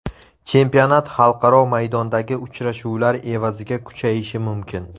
Chempionat xalqaro maydondagi uchrashuvlar evaziga kuchayishi mumkin.